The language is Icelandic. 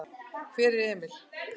Hvar er Emil?